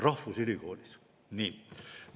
Rahvusülikoolis!